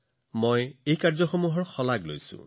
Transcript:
মই এনে সকলো ব্যক্তিগত প্ৰচেষ্টাকো প্ৰশংসা কৰো